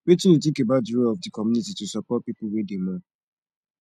wetin you think about di role of di community to support people wey dey mourn